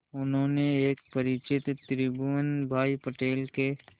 उन्होंने एक परिचित त्रिभुवन भाई पटेल के